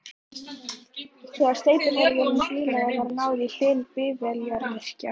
Þegar steypuhrærivélin bilaði var náð í Hlyn bifvélavirkja.